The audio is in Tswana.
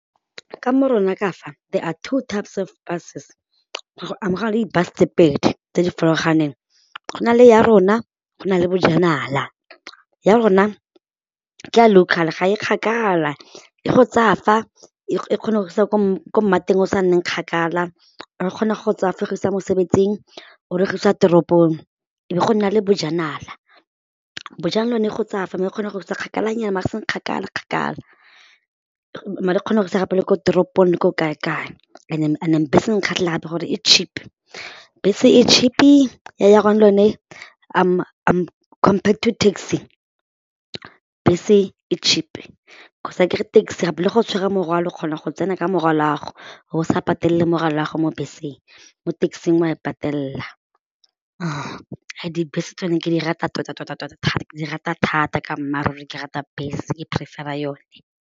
Ka mo rona ka fa there are two types of buses go na le di-bus tse pedi tse di farologaneng, go na le Yarona go na le Bojanala. Yarona ke a local ga e kgakala, e go tsaya fa e kgona go isa kwa ko mmateng o sa nneng kgakala, or kgona go tsaya fa e go isa mosebetsing or e go isa teropong. E be go nna le Bojanala, Bojanala e go tsaya fa mme e kgona go isa kgakalanyana maar e seng kgakala kgakala maar e kgona go ise gape le ko toropong le ko kae kae bese e nkgatlhela gape gore e cheap, bese e cheap-i compared to taxi, bese e cheap cause akere taxi gape le ge o tshware morwalo kgona go tsena ka morwalo'ago o bo sa patelele morwalo'ago mo beseng, mo taxi-ng wa e patelela, dibese tsone ke di rata tota-tota thata ke di rata thata ka mmaaruri ke rata bese ke prefer-ra yone.